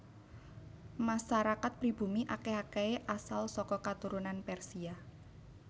Masarakat pribumi akèh akèhé asal saka katurunan Persia